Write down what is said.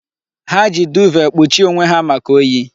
Ha ji duuve kpuchie onwe ha maka oyi.